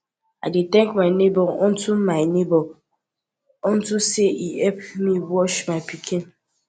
i dey thank my neighbour unto my neighbour unto say e help me watch my pikin